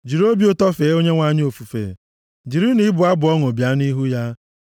Jiri obi ụtọ fee Onyenwe anyị ofufe; jirinụ ịbụ abụ ọṅụ bịa nʼihu ya